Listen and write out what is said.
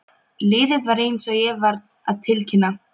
Liðið er eins og ég var að tilkynna.